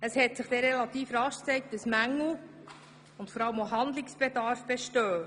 Es hat sich rasch gezeigt, dass Mängel vorliegen und Handlungsbedarf besteht.